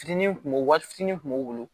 Fitinin kun b'o wari fitinin kun b'o bolo